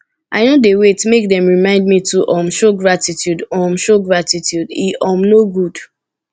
i no dey wait make dem remind me to um show gratitude um show gratitude e um no good